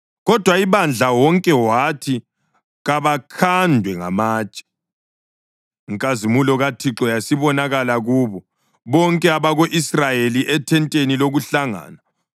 Kodwa ibandla wonke wathi kabakhandwe ngamatshe. Inkazimulo kaThixo yasibonakala kubo bonke abako-Israyeli ethenteni lokuhlangana.